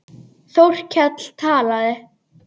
Þórkell talaði.